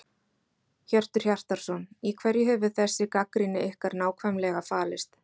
Hjörtur Hjartarson: Í hverju hefur þessi gagnrýni ykkar nákvæmlega falist?